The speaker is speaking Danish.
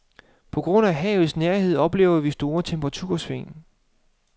På grund af havets nærhed oplever vi store temperatursving.